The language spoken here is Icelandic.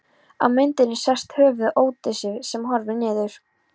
Á myndinni sést höfuð Ódysseifs sem horfir niður.